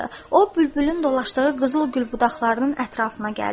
O bülbülün dolaşdığı qızıl gül budaqlarının ətrafına gəldi.